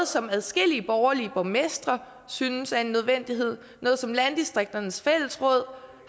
som adskillige borgerlige borgmestre synes er en nødvendighed og som landdistrikternes fællesråd